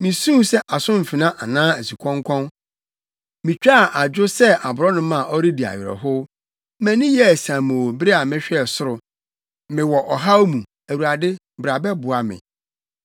Misuu sɛ asomfena anaa asukɔnkɔn; mitwaa adwo sɛ, aborɔnoma a ɔredi awerɛhow. Mʼani yɛɛ siamoo bere a mehwɛɛ soro. Mewɔ ɔhaw mu, Awurade, bra bɛboa me!”